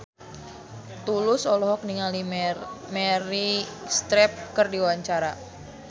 Tulus olohok ningali Meryl Streep keur diwawancara